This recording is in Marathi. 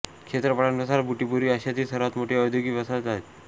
क्षेत्रफळानुसार बुटिबोरी आशियातील सर्वांत मोठी औद्योगिक वसाहत आहे